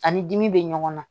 Ani dimi bɛ ɲɔgɔn na